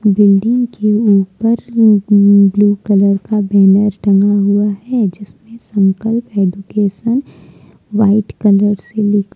building के ऊपर blue colour का बैनर टंगा हुआ है जिसपे संकल्प एजुकेशन व्हाइट कलर से लिख--